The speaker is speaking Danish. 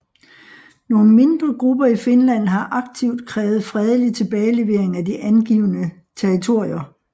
Nogle mindre grupper i Finland har aktivt krævet fredelig tilbagelevering af de afgivne territorier